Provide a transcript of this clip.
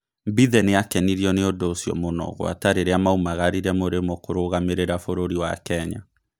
Mbithe nĩakenirio nĩ ũndũ ũcio mũno gwata rĩrĩa maumagarire Mũrĩmo kũrũgamĩrĩra bũrũri wa Kenya.